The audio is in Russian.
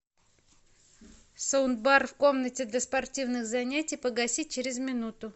саундбар в комнате для спортивных занятий погаси через минуту